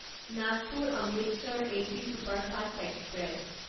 Nagpur Amritsar AC superfast express